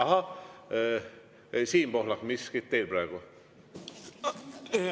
Ahah, Siim Pohlak, miskit on teil praegu öelda.